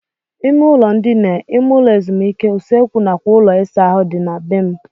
Ime ụlọ ndina, ime ụlọ ezumike, usekwu nakwa ụlọ ịsa ahụ dị na be m.